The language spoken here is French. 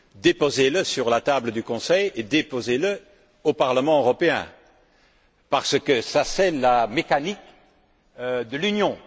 Déposez le sur la table du Conseil et déposez le au Parlement européen parce que telle est la mécanique de l'Union.